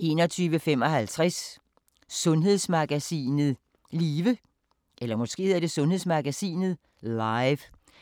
21:55: Sundhedsmagasinet Live –